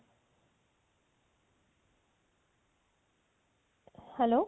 hello